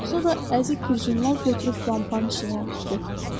Sonra əzik bir jurnal götürüb lampanın işığına tutdu.